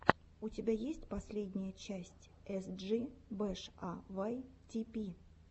у тебя есть последняя часть эс джи бэш а вай ти пи